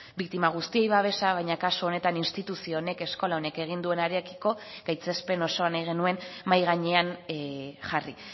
biktima guztiei babesa baina kasu honetan instituzio honek eskola honek egin duenarekiko gaitzespen osoa nahi genuen mahai gainean jarri